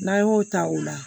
N'an y'o ta o la